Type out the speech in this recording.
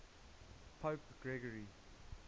pope gregory